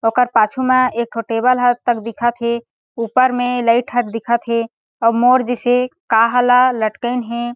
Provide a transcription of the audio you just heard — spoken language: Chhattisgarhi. ओकर पाछू म एक ठो टेबल ह तक दिखा थे ऊपर मे लाइट ह तक दिखा थे अऊ मोर जइसे काहा ल लटके हे।